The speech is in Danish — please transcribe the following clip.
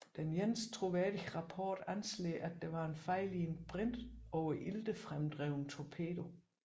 Den eneste troværdige rapport anslår at det var en fejl i en brintoveriltefremdrevet torpedo